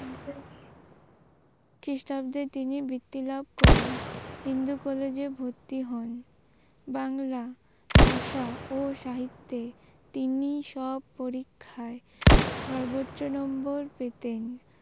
খ্রিস্টাব্দে তিনি বৃত্তি লাভ করেন হিন্দু কলেজ এ ভর্তি হন বাংলা ভাষা ও সাহিত্যে তিনি সব পরীক্ষায় সর্বোচ্চ নম্বর পেতেন